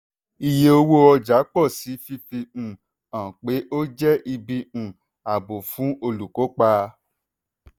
iye owó ọjà pọ̀ síi fifi um hàn pé ó jẹ́ ibi um ààbò fún olùkópa. um